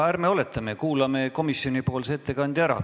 Ärme oletame, vaid kuulame komisjoni ettekandja ära.